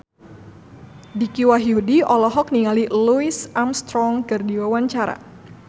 Dicky Wahyudi olohok ningali Louis Armstrong keur diwawancara